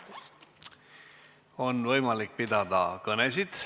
On võimalik pidada kõnesid.